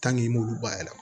i m'olu bayɛlɛma